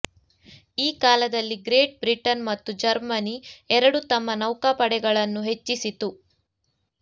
ಈ ಕಾಲದಲ್ಲಿ Great Britain ಮತ್ತು ಜರ್ಮನಿ ಎರಡೂ ತಮ್ಮ ನೌಕಾಪಡೆಗಳನ್ನು ಹೆಚ್ಚಿಸಿತು